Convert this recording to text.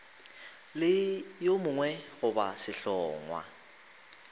le yo mongwe goba sehlongwa